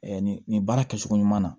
nin nin baara kɛcogo ɲuman na